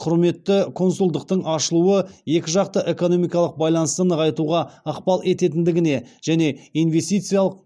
құрметті консульдықтың ашылуы екі жақты экономикалық байланысты нығайтуға ықпал ететіндігіне және инвестициялық